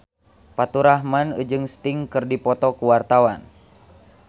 Faturrahman jeung Sting keur dipoto ku wartawan